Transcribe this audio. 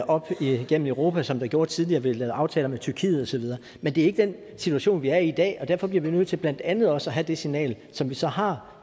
op igennem europa som der gjorde tidligere vi har lavet aftaler med tyrkiet og så videre men det er ikke den situation vi er i i dag og derfor bliver vi nødt til blandt andet også at sende det signal som vi så har